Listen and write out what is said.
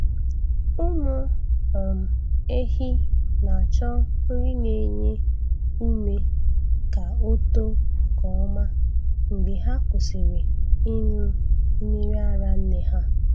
Ụmụ um ehi na-achọ nri na-enye ume ka o too nke ọma mgbe ha kwusịrị ịnụ mmiri ara nne ha.